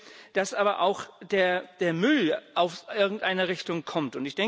Ich denke, dass aber auch der Müll aus irgendeiner Richtung kommt.